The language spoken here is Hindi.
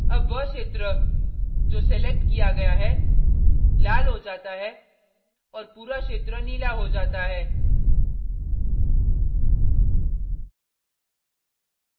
अब वह क्षेत्र जो selected किया गया है लाल हो जाता है और पूरा क्षेत्र नीला हो जाता है